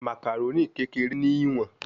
Macaroni kere ni iwọn